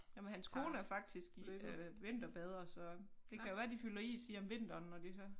Nåh men hans kone er faktisk øh vinterbader så det kan jo være de fylder is i om vinteren når de så